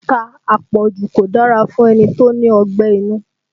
Ata àpọ̀jù kò dára fún ẹni tó ní ọgbẹ́ inú